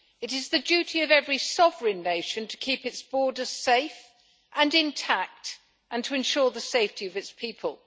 It is the duty of every sovereign nation to keep its borders safe and intact and to ensure the safety of its people.